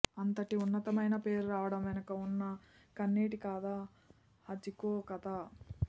అంతటి ఉన్నతమైన పేరు రావడం వెనుక ఉన్నా కన్నీటి కథ హచికో కథ